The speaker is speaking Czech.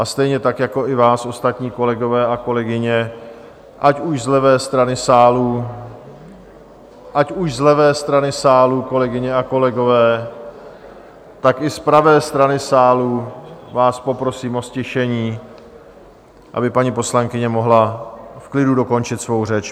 A stejně tak jako i vás ostatní, kolegové a kolegyně, ať už z levé strany sálu... ať už z levé strany sálu, kolegyně a kolegové... , tak i z pravé strany sálu vás poprosím o ztišení, aby paní poslankyně mohla v klidu dokončit svou řeč.